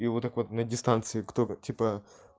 и вот так вот на дистанции кто типа